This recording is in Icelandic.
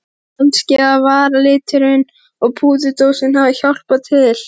Kannski að varaliturinn og púðurdósin hafi hjálpað til.